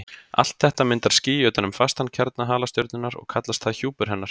Allt þetta myndar ský utan um fastan kjarna halastjörnunnar og kallast það hjúpur hennar.